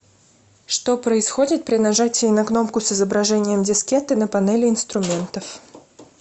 что происходит при нажатии на кнопку с изображением дискеты на панели инструментов